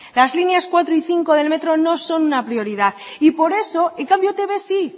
las líneas cuatro y cinco no son una prioridad y por eso en cambio etb sí